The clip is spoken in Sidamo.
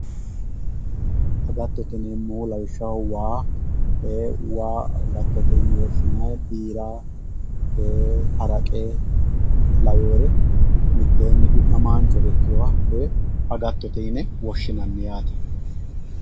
agattote yineemohu lawishshaho waa agattote yine woshinaye biira, haraqe laweyoore mitteenni du'naamaanchore ikkiyoore agattote yine woshinanni yaate